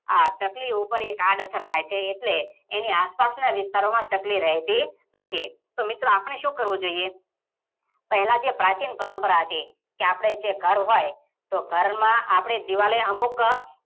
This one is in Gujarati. આ ચકલી ઉપર એક આડ અસર થઇ છે, એટલે એની આસ પાસના વિસ્તારોમાં ચકલી રેહતી નથી. તો મિત્રો આપણે સુ કરવું જોઈ, પેહલા જે પ્રાચીન પરમ્પરા હતી કે આપણે જે ઘર હોઈ તો ઘરમાં આપણે દીવાલે અમુક